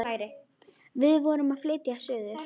Við vorum að flytja suður.